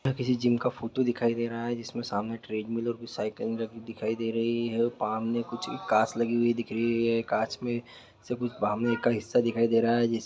यह किसी जीम का फोटो दिखाई दे रहा है जिसमें सामने ट्रेड मिल और कुछ साइकिल दिखाई दे रही हैऔर कुछ कांच लगी हुई दिख रही है कांच मे से कुछ बाहर का कुछ हिस्सा दिखाई दे रहा है जिस --